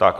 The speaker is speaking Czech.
Tak.